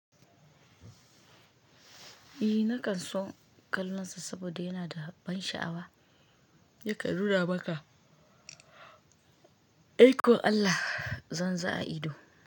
Eh na kan son kallon sa saboda yana da ban sha'awa. Yakan nuna maka. I kon Allah! Zan za a ido.